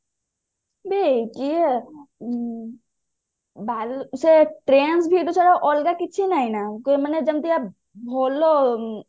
ସେ trends v two ଛଡା ଅଲଗା କିଛି ନାହିଁ ନା ମାନେ ଯେମିତିକା ଭଲ